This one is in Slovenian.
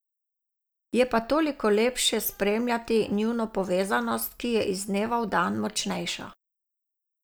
Je pa toliko lepše spremljati njuno povezanost, ki je iz dneva v dan močnejša.